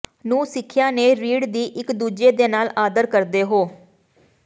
ਨੂੰ ਸਿੱਖਿਆ ਨੇ ਰੀੜ ਦੀ ਇਕ ਦੂਜੇ ਦੇ ਨਾਲ ਆਦਰ ਕਰਦੇ ਹੋ